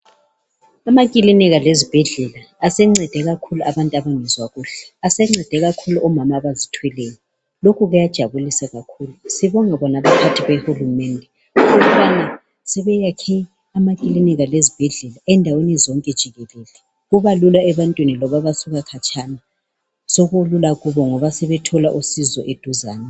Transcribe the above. Amakilinika lezibhedlela asencede kakhulu abantu abangezwa kuhle asencede kakhulu omama abazithweleyo lokhu kujabulisa kakhulu sibonga bona abaphathi behulumende ukubana sebeyakhe amakilinika lezibhedlela endaweni zonke jikelele kubalula ebantwini loba abasuka khatshana sokulula kubo ngoba sebethola usizo eduzane.